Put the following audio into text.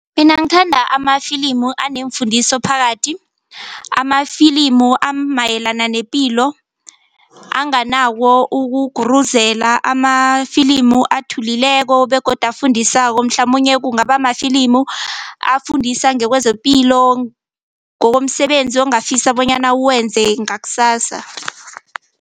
Mina ngithanda amafilimu aneemfundiso phakathi amafilimu amayelana nepilo anganako ukuguruzela, amafilimu athulileko begodu afundisako mhlamunye kungaba mafilimu afundisa ngekwezepilo, ngokomsebenzi ongafisa bonyana uwenze ngakusasa.